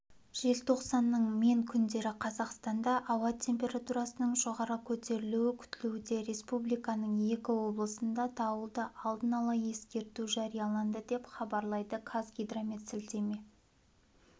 желтоқсанның мен күндері қазақстанда ауа температурасының жоғары көтерілуі күтілуде республиканың екі облысына дауылды алдын ала ескерту жарияланды деп хабарлайды қазгидромет сілтеме